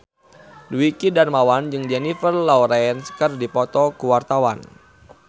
Dwiki Darmawan jeung Jennifer Lawrence keur dipoto ku wartawan